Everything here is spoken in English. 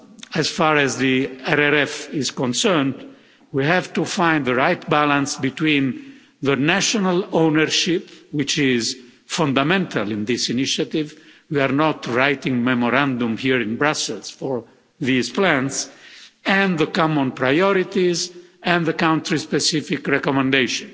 As far as the RRF is concerned, we have to find the right balance between the national ownership, which is fundamental in this initiative we are not writing memorandum here in Brussels for these plans and the common priorities and the country specific recommendation.